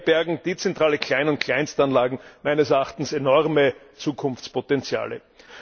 Daher bergen dezentrale Klein und Kleinstanlagen meines Erachtens enorme Zukunftspotenziale.